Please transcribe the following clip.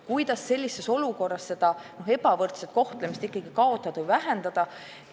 Kuidas sellises olukorras ebavõrdset kohtlemist kaotada või vähendada?